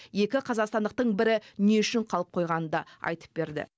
екі қазақстандықтың бірі не үшін қалып қойғанын да айтып берді